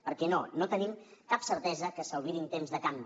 perquè no no tenim cap certesa que s’albirin temps de canvi